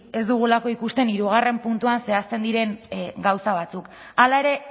ez dugulako ikusten hirugarrena puntuan zehazten diren gauza batzuk hala ere